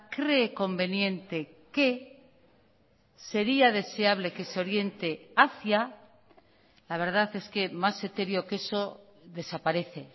cree conveniente que sería deseable que se oriente hacia la verdad es que más etéreo que eso desaparece